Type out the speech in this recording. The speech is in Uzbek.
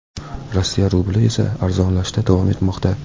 Rossiya rubli esa arzonlashda davom etmoqda.